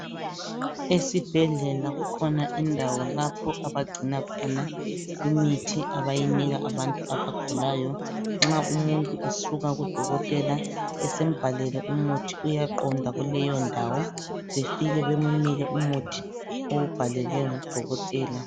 Esibhedlela kukhona indawo lapho abagcina khona imithi abayinika abantu abagulayo, nxa umuntu esuka kudokotela esembhalele umuthi uyaqonda kuleyo ndawo befike bemunike umuthi owubhalelwe ngudokotela.